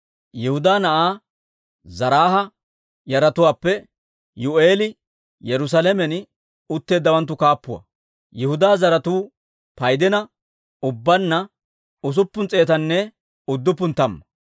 Yihudaa na'aa Zaraaha yaratuwaappe Yi'u'eeli Yerusaalamen utteeddawanttu kaappuwaa. Yihudaa zaratuu paydina ubbaanna usuppun s'eetanne udduppun tamma.